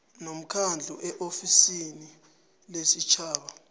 nomkhandlu eofisini lesitjhaba